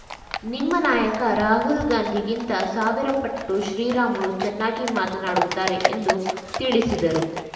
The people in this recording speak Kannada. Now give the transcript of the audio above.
ನಿಮ್ಮ ನಾಯಕ ರಾಹುಲ್‌ ಗಾಂಧಿಗಿಂತ ಸಾವಿರ ಪಟ್ಟು ಶ್ರೀರಾಮುಲು ಚೆನ್ನಾಗಿ ಮಾತನಾಡುತ್ತಾರೆ ಎಂದು ತಿಳಿಸಿದರು